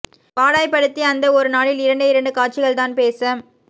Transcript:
பாடாய்ப் படுத்தி அந்த ஒரு நாளில் இரண்டே இரண்டு காட்சிகள் தான் பேச